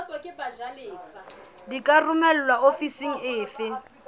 di ka romelwa ofising efe